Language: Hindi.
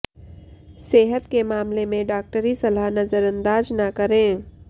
सेहत के मामले में डॉक्टरी सलाह नज़रअंदाज़ ना करें